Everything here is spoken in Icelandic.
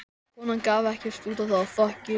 Konan gaf ekkert út á það.